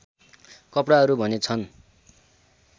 कपडाहरू भने छन्